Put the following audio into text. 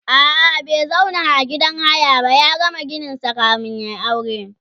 a'a bai zauna a gidan haya ba ya gama gininsa kamin yayi aure